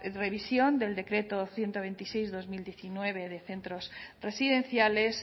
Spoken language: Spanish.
revisión del decreto ciento veintiséis barra dos mil diecinueve de centros residenciales